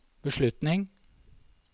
beslutning